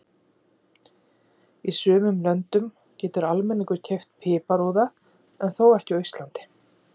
Í sumum löndum getur almenningur keypt piparúða, þó ekki á Íslandi.